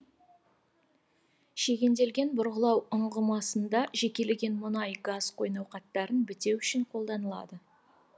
шегенделген бұрғылау ұңғымасында жекеленген мұнай газ қойнауқаттарын бітеу үшін қолданылады